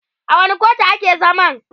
a wani kotu a ke zaman?